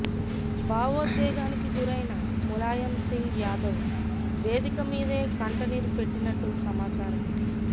భావోద్వేగానికి గురైన ములాయం సింగ్ యాదవ్ వేదిక మీదే కంటనీరు పెట్టినట్టు సమాచారం